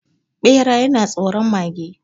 Bera yana tsoron mage